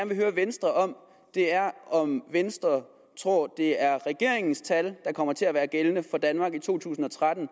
vil høre venstre om er om venstre tror det er regeringens tal der kommer til at være gældende for danmark i to tusind og tretten